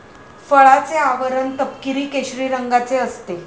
फळाचे आवरण तपकिरी, केशरी रंगाचे असते.